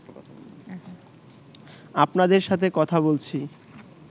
আপনাদের সাথে কথা বলছি